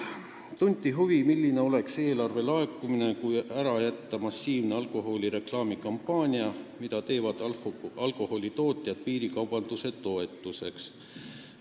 Tunti huvi, kui suur oleks eelarve laekumine, kui ära jätta massiivne alkoholi reklaami kampaania, mida alkoholitootjad teevad piirikaubanduse toetuseks.